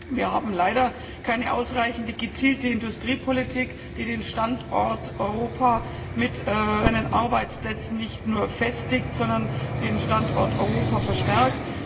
Wir haben leider keine ausreichende gezielte Industriepolitik, die den Standort Europa mit seinen Arbeitsplätzen nicht nur festigt, sondern den Standort Europa stärkt.